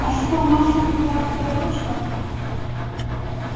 а что маша капитанская дочка